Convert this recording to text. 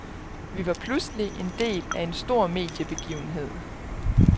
Vi var pludselig en del af en stor mediebegivenhed.